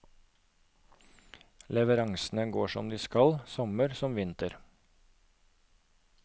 Leveransene går som de skal, sommer som vinter.